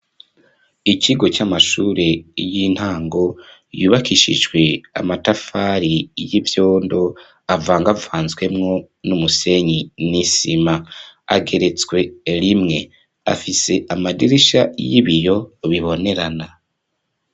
Ikigo c'amashure y'intango, yubakishijwe amatafari y'ivyondo avangavanzwemwo n'umusenyi n'isima, ageretswe rimwe, afise amadirisha y'ibiyo bibonerana.